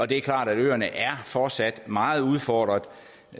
det er klart at øerne fortsat meget udfordrede